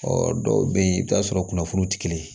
Ɔ dɔw bɛ yen i bɛ t'a sɔrɔ kunnafoni tɛ kelen ye